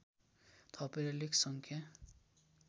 थपेर लेख सङ्ख्या